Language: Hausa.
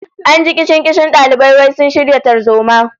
An ji kishin-kishin dalibai wai sun shirya tarzoma